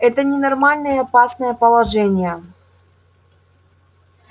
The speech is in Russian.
это ненормальное опасное положение